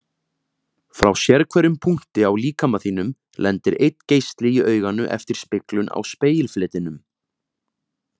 Frá sérhverjum punkti á líkama þínum lendir einn geisli í auganu eftir speglun á spegilfletinum.